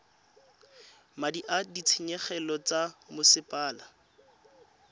madi a ditshenyegelo tsa mosepele